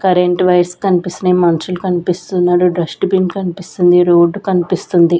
Current wires కన్పిస్తున్నయ్ మన్షుల్ కన్పిస్తున్నడు డస్ట్ బిన్ కన్పిస్తుంది రోడ్డు కన్పిస్తుంది.